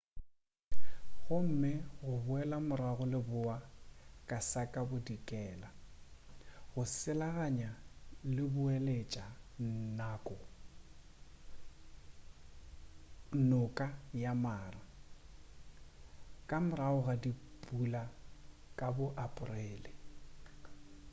gomme go boela morago leboa ka sa ka bodikela go selaganya leboeletša noka ya mara ka morago ga dipula ka bo aporele